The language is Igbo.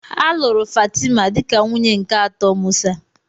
A lụrụ Fatima dịka nwunye nke atọ Musa.